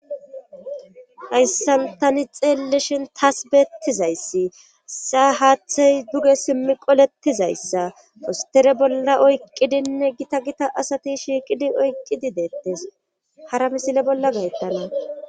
Hayssan tani xeelleshin taas beettizayssi saa haaththey duge simmi qoletizayssa fostere bolla oyqqidinne gita gita asati shiiqidi oyqqidi deettes hara misile bolla gayttana.